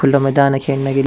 खुला मैदान है खेलने के लि --